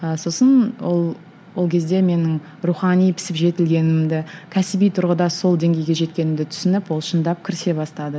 ыыы сосын ол ол кезде менің рухани пісіп жетілгенімді кәсіби тұрғыда сол деңгейге жеткенімді түсініп ол шындап кірісе бастады